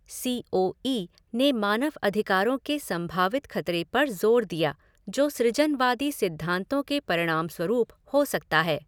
सी O E ने मानव अधिकारों के संभावित खतरे पर जोर दिया जो सृजनवादी सिद्धांतों के परिणामस्वरूप हो सकता है।